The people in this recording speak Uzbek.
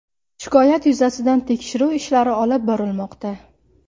Shikoyat yuzasidan tekshiruv ishlari olib borilmoqda.